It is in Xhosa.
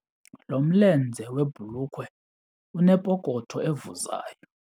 Lo mlenze webhulukhwe unepokotho evuzayo.